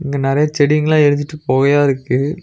இங்க நறைய செடிங்களா எரிஞ்சிட்டு பொகையா இருக்கு.